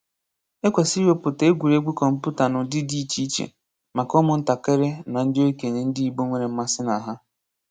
Ekwesịrị iwepụta egwuregwu kọmputa n'ụdị dị iche iche maka ụmụ ntakịrị na ndị okenye ndị Igbo nwere mmasị na ha.